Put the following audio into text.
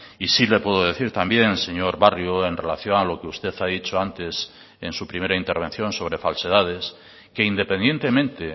y sí le puedo decir también señor barrio en relación a lo que usted ha dicho antes en su primera intervención sobre falsedades que independientemente